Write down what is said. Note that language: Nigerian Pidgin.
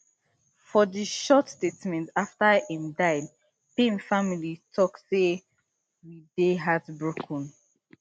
for one short statement afta im die payne family tok say we dey heartbroken